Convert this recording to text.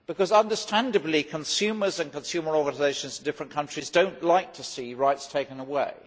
Understandably, consumers and consumer organisations in different countries do not like to see rights taken away.